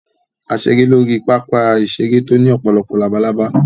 A ṣeré lórí pápá-ìṣeré tó ní ọ̀pọ̀lọpọ̀ labalábá.